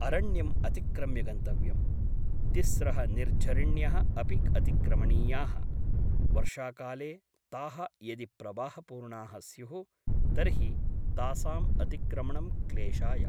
अरण्यम् अतिक्रम्य गन्तव्यम् । तिस्त्रः निर्झरिण्यः अपि अतिक्रमणीयाः । वर्षाकाले ताः यदि प्रवाहपूर्णाः स्युः तर्हि तासाम् अतिक्रमणं क्लेशाय ।